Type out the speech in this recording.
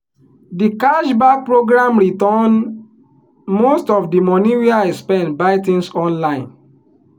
di cashback program return most of di money wey i spend buy things online.